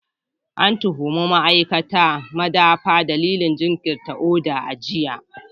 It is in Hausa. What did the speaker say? An tuhumi ma'aikatan madafa dalilin jinkirta oda a jiya.